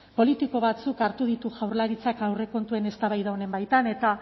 politiko batzuk hartu ditu jaurlaritzak aurrekontuen eztabaida honen baitan eta